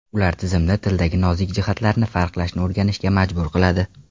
Ular tizimni tildagi nozik jihatlarni farqlashni o‘rganishga majbur qiladi.